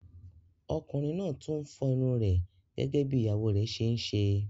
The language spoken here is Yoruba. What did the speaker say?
Ọkùnrin náà tún ń fọ́ irun rẹ̀ gẹ́gẹ́ bí ìyàwó rẹ̀ ṣe ń ṣe.